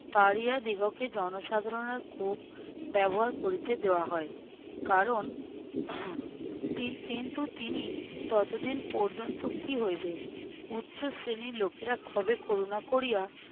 পাড়িয়াদীগকে জনসাধারণের কূপ ব্যবহার করিতে দেয়া হয় কারণ কি~ কিন্তু তিনি ততদিন পর্যন্ত কী হইবে? উচ্চ শ্রেণীর লোকেরা কবে করুণা করিয়া